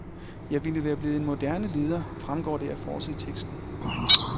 Jeg ville være blevet en moderne leder, fremgår det af forsideteksten.